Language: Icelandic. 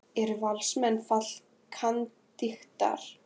Eru Valsmenn fallkandídatar?